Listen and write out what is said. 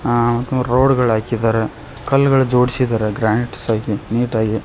ಆ ಮತ್ತು ರೋಡ್ ಗಳು ಹಾಕಿದ್ದಾರೆ ಕಲ್ಲುಗಳು ಜೋಡಿಸಿದ್ದಾರೆ ಗ್ರಾನೈಟ್ಸ್ ಆಗಿ ನೀಟ್ ಆಕಿ.